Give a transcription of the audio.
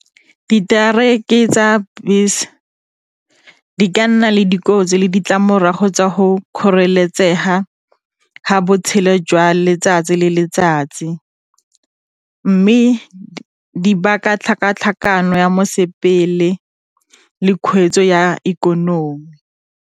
Diteraeke tsa besa di ka nna le dikotsi le ditlamorago tsa go kgoreletsega ga botshelo jwa letsatsi le letsatsi mme di baka tlhakatlhakano ya mosepele le kgweetso ya ikonomi.